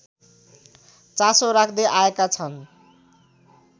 चासो राख्दै आएका छन्